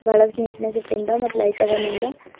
ಬಹಳಷ್ಟು ನೀಟ್ನೆಸ್ ಇಟ್ಟಿಂದ ಮತ್ ಲೈಟ್ ಅವ ಮ್ಯಾಲ.